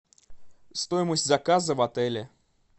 стоимость заказа в отеле